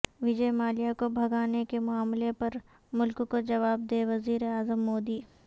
وجے مالیہ کو بھگانے کے معاملہ پر ملک کو جواب دیں وزیر اعظم مودی